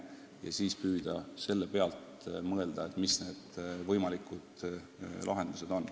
Ja seejärel püüame mõelda, mis on võimalikud lahendused.